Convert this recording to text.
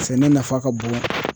Sɛnɛ nafa ka bon.